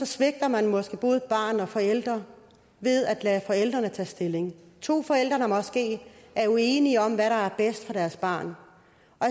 svigter man måske både barn og forældre ved at lade forældrene tage stilling det at to forældre måske er uenige om hvad der er bedst for deres barn